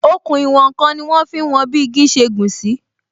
Òkun ìwòn n kan ni wọn fi ń wọn bi igi ṣe gùn sí